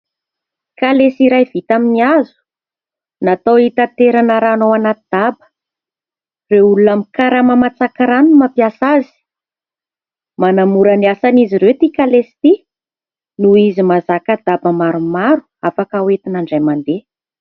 Kalesa iray vita amin'ny hazo, natao hitaterana rano ao anaty daba. Ireo olona mikarama matsaka rano no mampiasa azy. Manamora ny asan'izy ireo ity kalesa itỳ noho izy mahazaka daba maromaro afaka hoentina indray mandeha.